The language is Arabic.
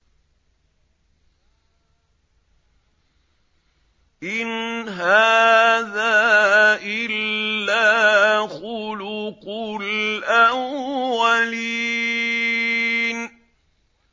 إِنْ هَٰذَا إِلَّا خُلُقُ الْأَوَّلِينَ